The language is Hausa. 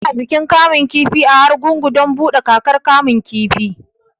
Ana bikin kamun kifi a Argungun don buɗe kakar kamun kifi